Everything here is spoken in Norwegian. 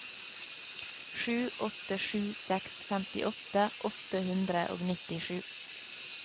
sju åtte sju seks femtiåtte åtte hundre og nittisju